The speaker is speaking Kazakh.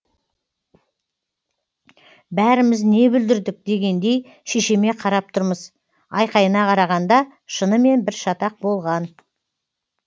бәріміз не бүлдірдік дегендей шешеме қарап тұрмыз айқайына қарағанда шынымен бір шатақ болған